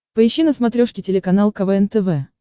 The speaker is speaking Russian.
поищи на смотрешке телеканал квн тв